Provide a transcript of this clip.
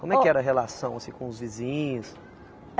Como é que era a relação assim com os vizinhos?